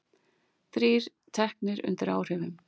Þrír teknir undir áhrifum